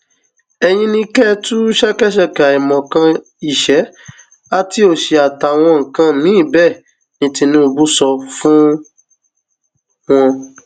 ẹyin ni kẹ ẹ tú ṣẹkẹṣẹkẹ àìmọkan ìṣẹ àti òṣì àtàwọn nǹkan míín bẹẹ ni tìnubù sọ fún wọn